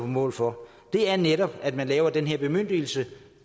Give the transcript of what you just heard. mål for er netop at man laver den her bemyndigelse